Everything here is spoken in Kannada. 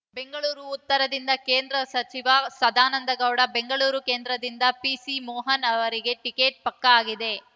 ಬೆಂಗಳೂರು ಉತ್ತರದಿಂದ ಕೇಂದ್ರ ಸಚಿವ ಸದಾನಂದಗೌಡ ಬೆಂಗಳೂರು ಕೇಂದ್ರದಿಂದ ಪಿಸಿ ಮೋಹನ್ ರವರಿಗೆ ಟಿಕೆಟ್ ಪಕ್ಕಾ ಆಗಿದೆ